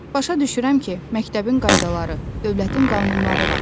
Başa düşürəm ki, məktəbin qaydaları, dövlətin qanunları var.